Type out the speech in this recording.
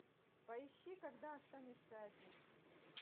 поищи когда останешься один